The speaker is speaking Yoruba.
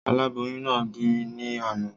Aláboyún náà bì ní àná